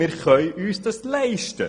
Zudem können wir uns dies leisten.